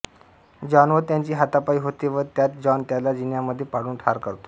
John व त्याची हातापाई होते व त्यात जॉन त्याला जिन्यामध्ये पाडुन ठार करतो